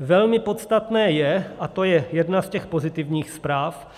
Velmi podstatné je, a to je jedna z těch pozitivních zpráv,